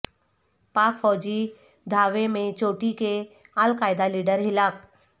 پاک فوجی دھاوے میں چوٹی کے القاعدہ لیڈر ہلاک